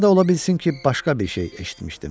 Ya da ola bilsin ki, başqa bir şey eşitmişdim.